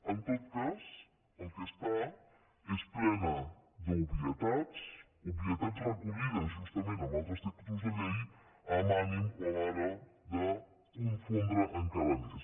en tot cas el que està és plena d’obvietats obvietats recollides justament en altres textos de llei amb ànim de conforme encara més